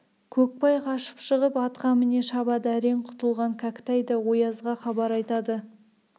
көкбай қашып шығып атқа міне шабады әрең құтылған кәкітай да оязға хабар айтады